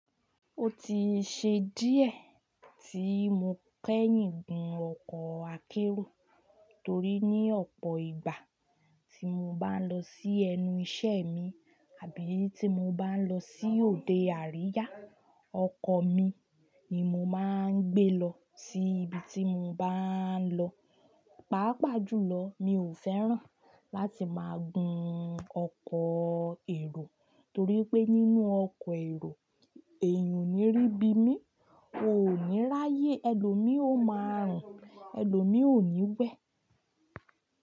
Ó ti ṣe díẹ̀ tí mo kẹ̀yìn gun ọkọ̀ akérò torí ní ọ̀pọ̀ ìgbà tí mo bá ń lọ sí ẹnu iṣẹ́ mi àbí tí mo bá ń lọ sí òde àríyá, ọkọ̀ mi ni mo máa ń gbé lọ sí ibi tí mo bá ń lọ. Pàápàá jùlọ, mi ò fẹ́ràn láti máa gun ọkọ̀ èrò torí pé nínú ọkọ̀ èrò, èèyàn ò ní rí bí mí, oò ní ráyé, ẹlòmíì ó máa rùn, ẹlòmíì ò ní wẹ̀